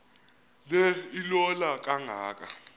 le ilola kangaka